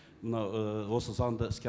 мынау і осы заңды іске